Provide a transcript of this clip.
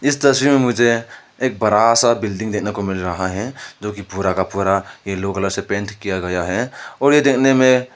इस तस्वीर में मुझे एक बड़ा सा बिल्डिंग देखने को मिल रहा है जो कि पूरा का पूरा येलो कलर से पेंट किया हुआ है और यह देखने में--